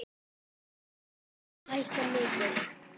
Hefur fiskur hækkað mikið?